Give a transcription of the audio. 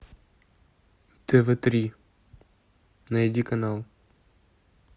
тв три найди канал